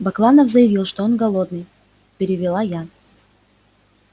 бакланов заявил что он голодный перевела я